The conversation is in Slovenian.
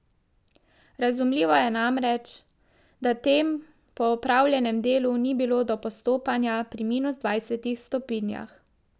Razumljivo je namreč, da tem po opravljenem delu ni bilo do postopanja pri minus dvajsetih stopinjah.